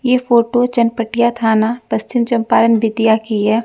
ये फोटो चनपटिया थाना पश्चिम चंपारण बेतिया की है।